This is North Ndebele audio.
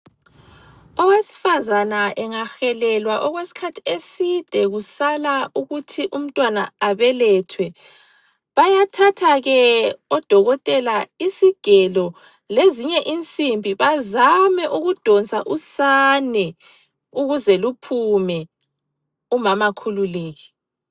Owesifazana engahelelwa okwesikhathi eside kusala ukuthi umntwana abelethwe, bayathatha ke odokotela isigelo lezinye insimbi bazame ukudonsa usane ukuze luphume umama akhululeke.